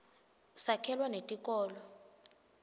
sakhelwa netikolo